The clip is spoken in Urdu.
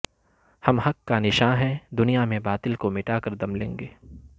ہم حق کا نشاں ہیں دنیا میں باطل کو مٹا کر دم لیں گے